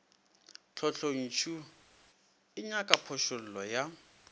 tlotlontšu e nyaka phošollo ya